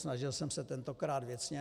Snažil jsem se tentokrát věcně.